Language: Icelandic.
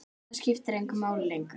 Það skiptir engu máli lengur.